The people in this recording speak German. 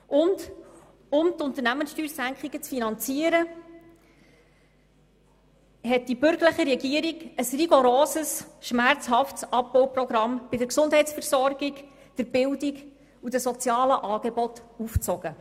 Um die Unternehmenssteuersenkung zu finanzieren, hat die bürgerliche Regierung ein rigoroses, schmerzhaftes Abbauprogramm bei der Gesundheitsversorgung, der Bildung und der sozialen Versorgung aufgezogen.